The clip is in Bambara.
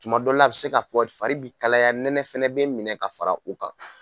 Tuma dɔw la a bɛ se kakɔɔri fari bi kalaya nɛnɛ fɛnɛ bɛ minɛ ka fara u kan.